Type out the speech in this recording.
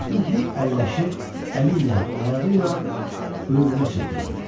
Atlı hey əlləşir, əli ilə, ayağı ilə öyrünə çırpırdı.